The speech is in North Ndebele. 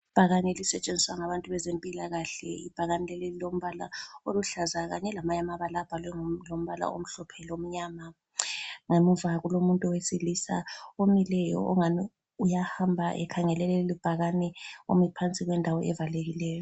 Ibhakane elisetshenziswa ngabantu bezempilakahle, ibhakane leli lilombala oluhlaza kanye lamanye amabala abhalwe ngombala omhlophe lomnyama. Ngemuva kulomuntu wesilisa omileyo ongani uyahamba ekhangele lelibhakane omi phansi kwendawo evalekileyo.